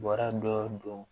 Bɔra dɔ don